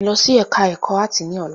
Lọ sí ẹka ẹ̀kọ́ áàtì ní ọ̀la!